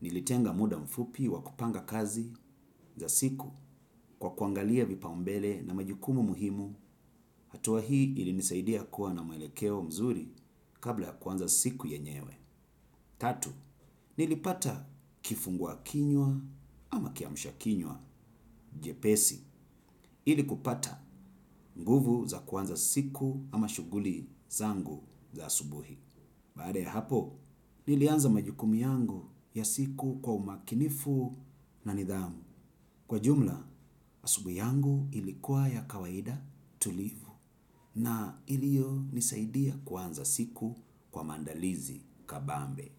nilitenga muda mfupi wa kupanga kazi za siku kwa kuangalia vipaumbele na majukumu muhimu hatua hii ili nisaidia kuwa na mwelekeo mzuri kabla ya kuanza siku yenyewe. Tatu, nilipata kifungua kinywa ama kiamsha kinywa jepesi ilikupata nguvu za kuanza siku ama shuguli zangu za asubuhi. Baada ya hapo, nilianza majukumu yangu ya siku kwa umakinifu na nidhamu. Kwa jumla, asubuhi yangu ilikuwa ya kawaida, tulivu na ilio nisaidia kuanza siku kwa mandalizi kapambe.